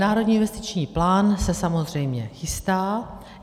Národní investiční plán se samozřejmě chystá.